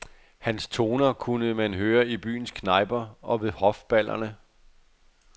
Hans toner kunne man høre i byens knejper og ved hofballerne.